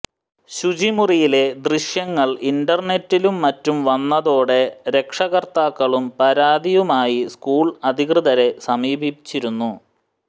ശുചിമുറിയിലെ ദൃശ്യങ്ങൾ ഇന്റർനെറ്റിലും മറ്റും വന്നതോടെ രക്ഷകർത്താക്കളും പരാതിയുമായി സ്കൂൾ അധികൃതരെ സമീപിച്ചിരുന്നു